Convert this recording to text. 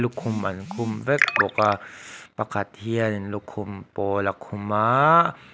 lukhum an khum vek bawk a pakhat hian in lukhum pawl a khum aaa--